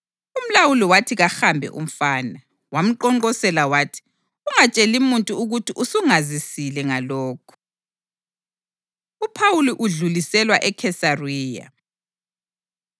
Umlawuli wathi kahambe umfana, wamqonqosela wathi, “Ungatsheli muntu ukuthi usungazisile ngalokhu.” UPhawuli Udluliselwa EKhesariya